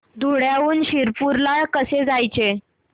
धुळ्याहून शिरपूर ला कसे जायचे